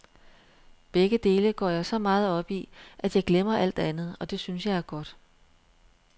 Begge dele går jeg så meget op i, at jeg glemmer alt andet, og det synes jeg er godt.